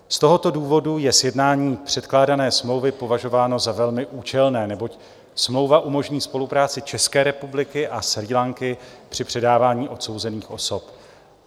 Z tohoto důvodu je sjednání předkládané smlouvy považováno za velmi účelné, neboť smlouva umožní spolupráci České republiky a Srí Lanky při předávání odsouzených osob.